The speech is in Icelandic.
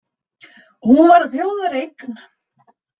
Hún var þjóðareign